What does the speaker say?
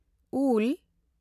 ᱩᱞ